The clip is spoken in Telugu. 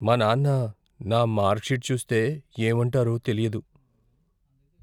మా నాన్న నా మార్క్ షీట్ చూస్తే, ఏమంటారో తెలియదు.